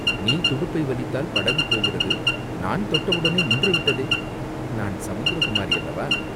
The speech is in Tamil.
நீ துடுப்பை வலித்தால் படகு போகிறது, நான் தொட்டவுடனே நின்றுவிட்டதே!" "நான் சமுத்திரகுமாரியல்லவா?